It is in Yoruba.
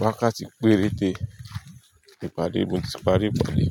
Wákàtí péréte. Ìpàdé mo ti parí ipade.